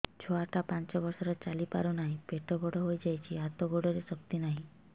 ଛୁଆଟା ପାଞ୍ଚ ବର୍ଷର ଚାଲି ପାରୁ ନାହି ପେଟ ବଡ଼ ହୋଇ ଯାଇଛି ହାତ ଗୋଡ଼ରେ ଶକ୍ତି ନାହିଁ